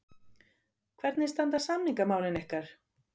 Hvernig standa samningamálin ykkar?